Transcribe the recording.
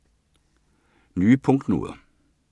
Nye punktnoder